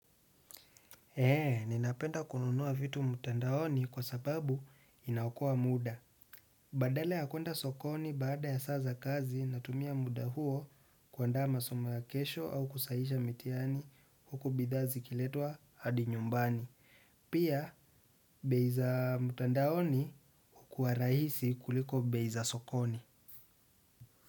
Heee, ninapenda kununua vitu mtandaoni kwa sababu inaokoa muda. Badala ya kuenda sokoni baada ya saa za kazi natumia muda huo kuandaa masomo ya kesho au kusahihisha mitihani huku bidhaa zikiletwa hadi nyumbani. Pia, bei za mtandaoni hukuwa rahisi kuliko bei za sokoni.